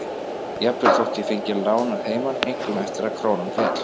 Jafnvel þótt ég fengi lán að heiman, einkum eftir að krónan féll.